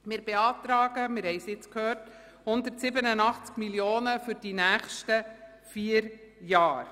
Wir beantragen – wir haben es gehört – 187 Mio. Franken für die nächsten vier Jahre.